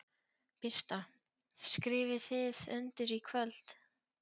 Birta: Skrifið þið undir í kvöld?